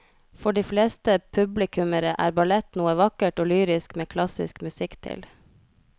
For de fleste publikummere er ballett noe vakkert og lyrisk med klassisk musikk til.